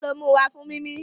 Our nose is used for breathing